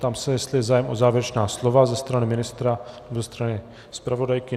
Ptám se, jestli je zájem o závěrečná slova ze strany ministra, ze strany zpravodajky.